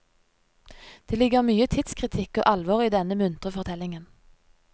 Det ligger mye tidskritikk og alvor i denne muntre fortellingen.